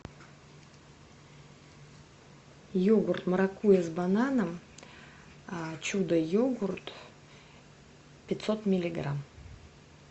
йогурт маракуйя с бананом чудо йогурт пятьсот миллиграмм